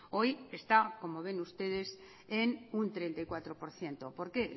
hoy está como ven ustedes en un treinta y cuatro por ciento por qué